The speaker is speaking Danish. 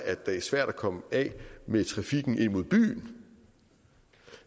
at det er svært at komme af med trafikken ind mod byen